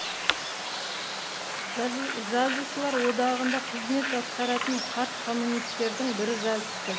жазушылар одағында қызмет атқаратын қарт коммунистердің бірі жазыпты